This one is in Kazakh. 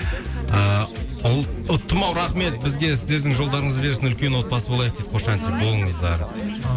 ыыы ұттым ау рахмет бізге сіздердің жолдарыңызды берсін үлкен отбасы болайық дейді қошанти болыңыздар әумин